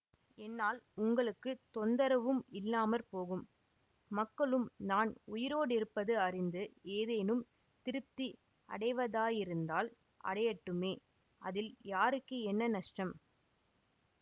என்னால் உங்களுக்கு தொந்தரவும் இல்லாம போகும் மக்களும் நான் உயிரோடிருப்பது அறிந்து ஏதேனும் திருப்தி அடைவதாயிருந்தால் அடையட்டுமே அதில் யாருக்கு என்ன நஷ்டம்